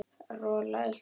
Rola elti hann.